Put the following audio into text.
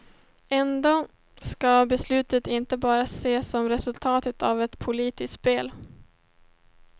Ändå ska beslutet inte bara ses som resultatet av ett politiskt spel.